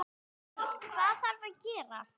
Björn: Hvað þarf að gera?